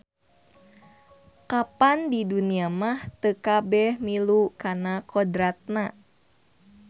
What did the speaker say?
Kapan di dunya mah teu kabeh milu kana kodratna.